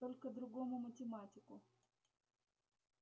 только другому математику